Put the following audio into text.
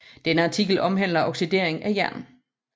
Denne artikel omhandler oxidering af jern